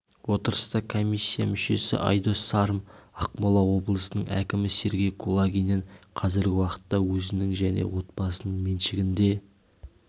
отырыста комиссия мүшесі айдос сарым ақмола облысының әкімі сергей кулагиннен қазіргі уақытта өзінің және отбасының меншігінде